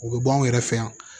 U bɛ bɔ anw yɛrɛ fɛ yan